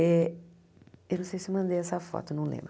Eh eu não sei se eu mandei essa foto, não lembro.